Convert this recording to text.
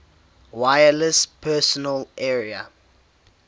wireless personal area